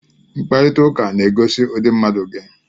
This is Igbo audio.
Mkparịta ụka na-egosi ụdị mmadụ gị